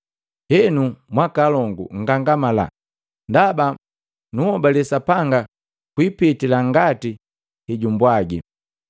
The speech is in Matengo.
Henu, mwaakolongu nngangamala! Ndaba nunhobale Sapanga kwipitila ngati hejumbwagi.